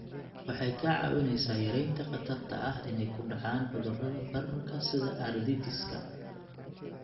Waxay kaa caawinaysaa yaraynta khatarta ah inay ku dhacaan cudurrada bararka sida arthritis-ka.